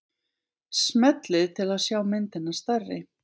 Smellið til að sjá myndina stærri.